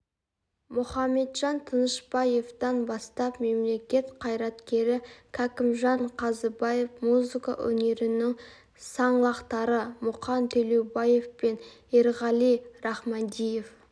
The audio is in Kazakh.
мұхаметжан тынышпаевтан бастап мемлекет қайраткері кәкімжан қазыбаев музыка өнерінің саңлақтары мұқан төлеубаев пен еркеғали рахмадиев